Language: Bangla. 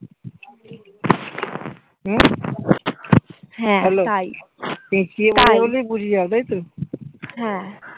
হ্যাঁ তাই তাই হ্যাঁ